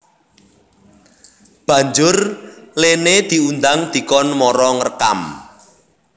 Banjur Lene diundang dikon mara ngrekam